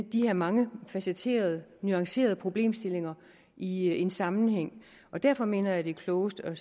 de her mangefacetterede nuancerede problemstillinger i en sammenhæng og derfor mener jeg at det er klogest at